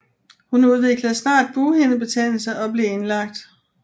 Hun udviklede snart bughindebetændelse og blev indlagt